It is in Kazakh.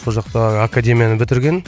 сол жақта академияны бітірген